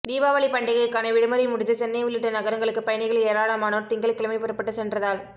தீபாவளி பண்டிகைக்கான விடுமுறை முடிந்து சென்னை உள்ளிட்ட நகரங்களுக்கு பயணிகள் ஏராளமானோா் திங்கள்கிழமை புறப்பட்டுச் சென்றதால்